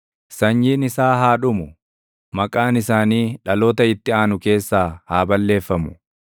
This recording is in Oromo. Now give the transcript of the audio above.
Sanyiin isaa haa dhumu; maqaan isaanii dhaloota itti aanu keessaa haa balleeffamu.